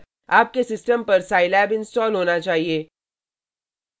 आपके सिस्टम पर Scilab scilab install होना चाहिए